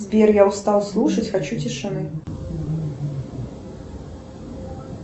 сбер я устал слушать хочу тишины